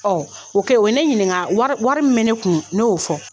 O kɛ, o ye ne ɲininga wari wari min bɛ ne kun, ne y'o fɔ.